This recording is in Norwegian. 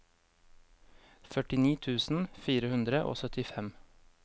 førtini tusen fire hundre og syttifem